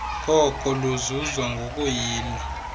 koko luzuzwa ngokuyila